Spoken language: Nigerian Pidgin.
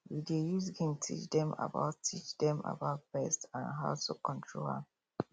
we dey use game teach dem about teach dem about pests and how to control am